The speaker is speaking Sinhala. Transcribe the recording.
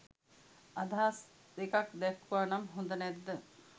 අදහසක් දෙකක් දැක්වුවා නම් හොද නැද්ද?